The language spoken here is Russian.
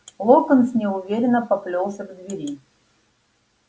локонс неуверенно поплёлся к двери